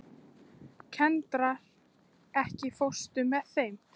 Kendra, ekki fórstu með þeim?